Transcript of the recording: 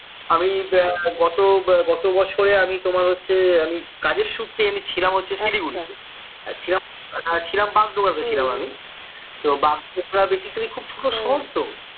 আমি গত গত বছরে আমি তোমার হচ্ছে আমি কাজের সূত্রেই ছিলাম হচ্ছে শিলিগুঁড়ি তে ছিলাম বাগডোবরা তে ছিলাম আমি তো বাগডোবরা basically খুব ছোট শহর তো